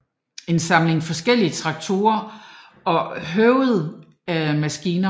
En samling forskellige traktorer og høvendingsmaskiner